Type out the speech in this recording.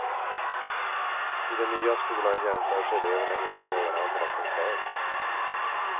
I den nya skolan jämförs eleverna inte med varandra, som förr.